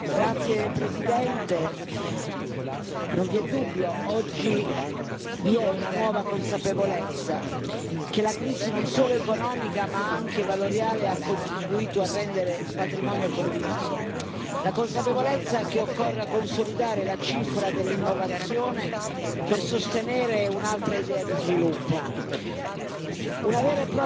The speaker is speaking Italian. Signora Presidente, onorevoli colleghi, non vi è dubbio, oggi vi è una nuova consapevolezza, che la crisi non solo economica ma anche valoriale ha contribuito a rendere patrimonio condiviso, la consapevolezza che occorra consolidare la cifra dell'innovazione per sostenere un'altra idea di sviluppo.